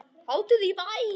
Hátíð í bæ